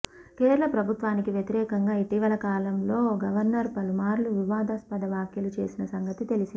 కేరళ ప్రభుత్వానికి వ్యతిరేకంగా ఇటీవల కాలంలో గవర్నర్ పలుమార్లు వివాదాస్పద వ్యాఖ్యలు చేసిన సంగతి తెలిసిందే